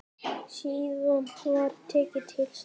Síðan var tekið til starfa.